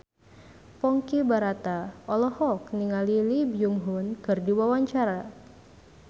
Ponky Brata olohok ningali Lee Byung Hun keur diwawancara